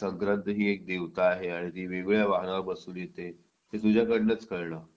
संक्रांत ही एक देवता आहे आणि ती वेगवेगळ्या वाहनांवर बसून येते हे तुझ्याकडूनच कळलं